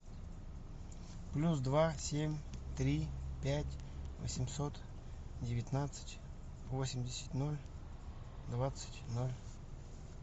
плюс два семь три пять восемьсот девятнадцать восемьдесят ноль двадцать ноль